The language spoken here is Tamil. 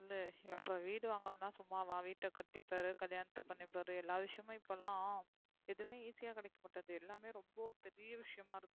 வந்து அப்புறம் வீடு வங்கரதெல்லாம் சும்மா வா வீட்ட கட்டி பாரு கல்யானத்த பண்ணி பாரு எல்லா விஷயமுமே இப்பெல்லாம் எதுமே easy அ கிடைக்கிறது இல்ல பெரிய விஷயமா இருக்கு